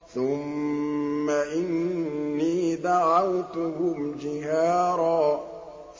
ثُمَّ إِنِّي دَعَوْتُهُمْ جِهَارًا